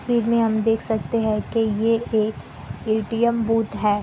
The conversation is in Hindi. में हम देख सकते हैं की ये एक ए_टी_एम बूथ है।